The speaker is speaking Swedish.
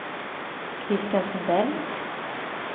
Christian Sundell